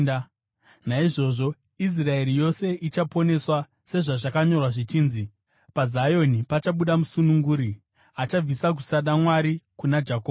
Naizvozvo Israeri yose ichaponeswa, sezvazvakanyorwa zvichinzi: “PaZioni pachabuda musununguri; achabvisa kusada Mwari kuna Jakobho.